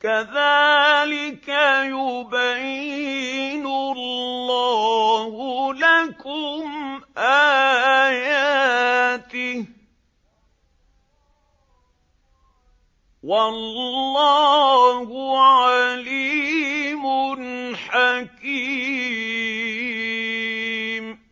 كَذَٰلِكَ يُبَيِّنُ اللَّهُ لَكُمْ آيَاتِهِ ۗ وَاللَّهُ عَلِيمٌ حَكِيمٌ